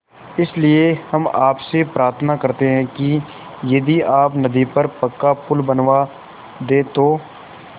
इसलिए हम आपसे प्रार्थना करते हैं कि यदि आप नदी पर पक्का पुल बनवा दे तो